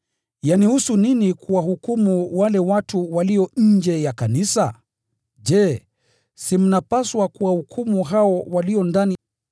Yanihusu nini kuwahukumu wale watu walio nje ya kanisa? Je, si mnapaswa kuwahukumu hao walio ndani?